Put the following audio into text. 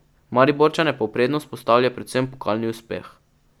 Mariborčane pa v prednost postavlja predvsem pokalni uspeh.